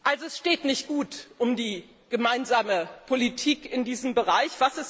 Also es steht nicht gut um die gemeinsame Politik in diesem Bereich.